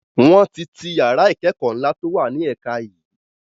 Wọn tí ti yàrá ìkẹ́kọ̀ ńla to wá ní ẹ̀ka yii